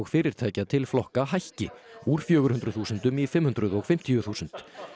fyrirtækja til flokka hækki úr fjögur hundruð þúsundum í fimm hundruð og fimmtíu þúsund